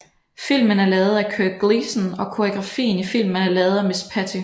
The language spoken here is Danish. Filmen er lavet af Kirk Gleason og koreografien i filmen er lavet af miss Patty